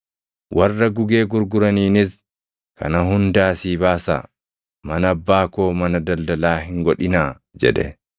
Warra gugee gurguraniinis, “Kana hunda asii baasaa! Mana Abbaa koo mana daldalaa hin godhinaa!” jedhe.